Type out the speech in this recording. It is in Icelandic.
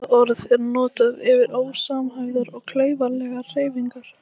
Þetta orð er notað yfir ósamhæfðar og klaufalegar hreyfingar.